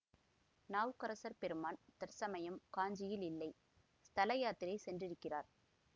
நாவுக்கரசர் பெருமான் தற்சமயம் காஞ்சியில் இல்லை ஸ்தல யாத்திரை சென்றிருக்கிறார்